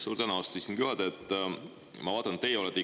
Suur tänu, austatud istungi juhataja!